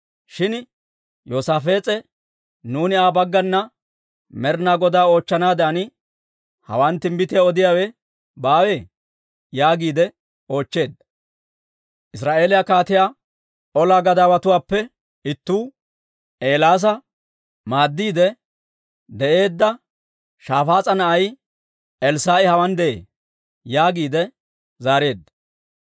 Shin Yoosaafees'e, «Nuuni Aa baggana Med'ina Godaa oochchanaadan hawaan timbbitiyaa odiyaawe baawee?» yaagiide oochcheedda. Israa'eeliyaa kaatiyaa olaa gadaawatuwaappe ittuu, «Eelaasa maaddiide de'eedda Shafaas'a na'ay Elssaa'i hawaan de'ee» yaagiide zaareedda.